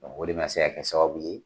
Ɔ o de ma se kɛ sababu ye